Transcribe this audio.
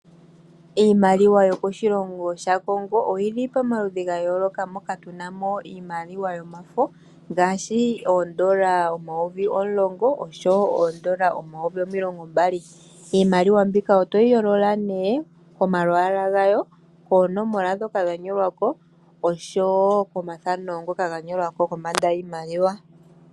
Iimaliwa yokoshilongo shaCongo oyi li pomaludhi ga yooloka moka tuna mo iimaliwa yomafo ngaashi oondola omayovi omulongo oshowo oondola omayovi omulongo mbali. Iimaliwa mbika otoyi yolola nee komalwaala gawo, koonomola ndhoka dha nyolwa ko oshowo komathano ngoka ga nyolwa ko kombanda yiimaliwa.